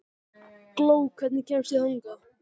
Gló, hvernig kemst ég þangað?